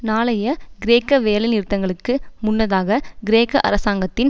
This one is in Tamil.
நாளைய கிரேக்க வேலைநிறுத்தங்களுக்கு முன்னதாக கிரேக்க அரசாங்கத்தின்